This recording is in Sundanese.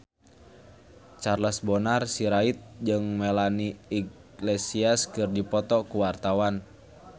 Charles Bonar Sirait jeung Melanie Iglesias keur dipoto ku wartawan